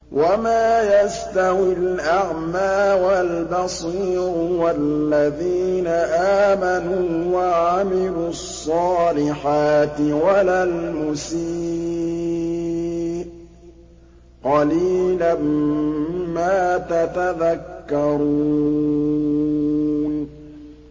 وَمَا يَسْتَوِي الْأَعْمَىٰ وَالْبَصِيرُ وَالَّذِينَ آمَنُوا وَعَمِلُوا الصَّالِحَاتِ وَلَا الْمُسِيءُ ۚ قَلِيلًا مَّا تَتَذَكَّرُونَ